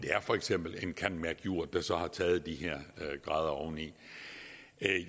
for eksempel en candmercjur der så har taget de her grader oveni